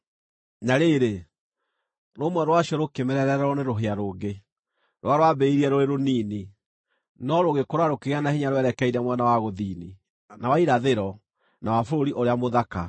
Na rĩrĩ, rũmwe rwacio rũkĩmerererwo nĩ rũhĩa rũngĩ, rũrĩa rwambĩrĩirie rũrĩ rũnini, no rũgĩkũra rũkĩgĩa na hinya rwerekeire mwena wa gũthini, na wa irathĩro, na wa Bũrũri ũrĩa Mũthaka.